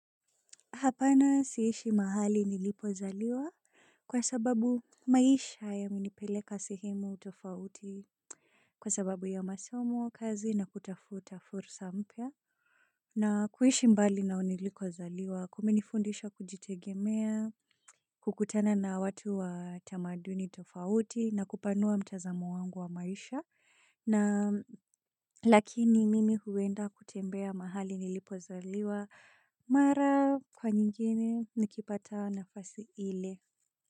Hapana siishi mahali nilipozaliwa kwa sababu maisha yamenipeleka sehemu tofauti. Kwa sababu ya masomo kazi na kutafuta fursa mpya na kuishi mbali na nilikozaliwa kumenifundisha kujitegemea. Kukutana na watu wa tamaduni tofauti na kupanua mtazamo wangu wa maisha. Na lakini mimi huenda kutembea mahali nilipozaliwa mara kwa nyingine nikipata nafasi ile.